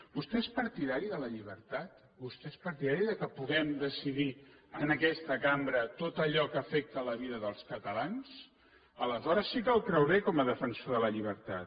vostè és partidari de la llibertat vostè és partidari que puguem decidir en aquesta cambra tot allò que afecta la vida dels catalans aleshores sí que el creuré com a defensor de la llibertat